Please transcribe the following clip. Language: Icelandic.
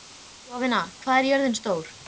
Jovina, hvað er jörðin stór?